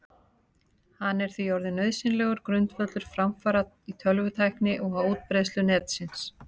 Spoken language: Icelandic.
Hann er því orðinn nauðsynlegur grundvöllur framfara í tölvutækni og á útbreiðslu Netsins.